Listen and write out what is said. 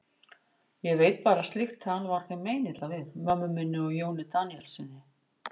Ég veit bara að slíkt tal var þeim meinilla við, mömmu minni og Jóni Daníelssyni.